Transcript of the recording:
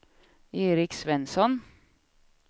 Eric Svensson